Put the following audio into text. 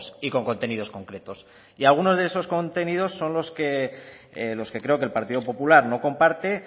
y con contenidos concretos y algunos de esos contenidos son los que creo que el partido popular no comparte